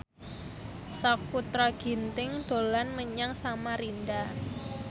Sakutra Ginting dolan menyang Samarinda